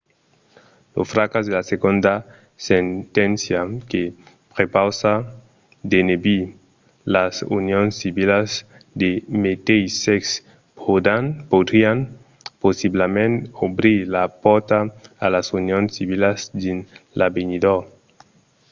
lo fracàs de la segonda senténcia que prepausa d'enebir las unions civilas de meteis sèxe podrián possiblament obrir la pòrta a las unions civilas dins l'avenidor